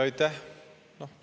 Aitäh!